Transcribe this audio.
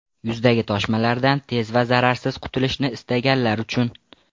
Yuzdagi toshmalardan tez va zararsiz qutilishni istaganlar uchun!.